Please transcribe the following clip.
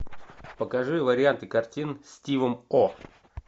покажи варианты картин с стивом о